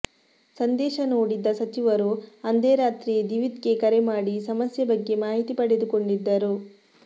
ಸಂದೇಶ ನೋಡಿದ್ದ ಸಚಿವರು ಅಂದೇ ರಾತ್ರಿ ದಿವಿತ್ಗೆ ಕರೆ ಮಾಡಿ ಸಮಸ್ಯೆ ಬಗ್ಗೆ ಮಾಹಿತಿ ಪಡೆದುಕೊಂಡಿದ್ದರು